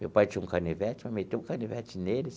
Meu pai tinha um canivete, mas meteu o canivete nele.